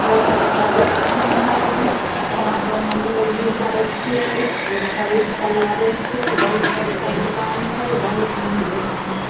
बहुत अच्छा दुकान छै यहां पर हमलोग भी जाय छिये तो खरीद के लावे छिये बहुत अच्छा दुकान छै बहुत निक दुकान छै।